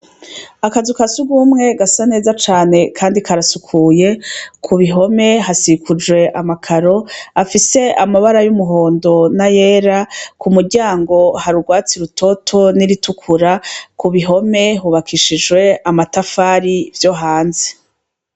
Akazu kasugumwegasa neza cane, kandi karasukuye ku bihome hasikuje amakaro afise amabara y'umuhondo na yera ku muryango harurwatsi rutoto n'iritukura ku bihome hubakishijwe amatafari vyo hanze.